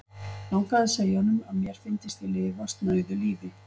Langaði að segja honum, að mér fyndist ég lifa snauðu lífi.